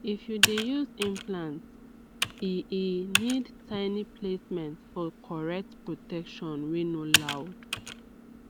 if u dey use implant e e need tiny placement for correct protection wey no loud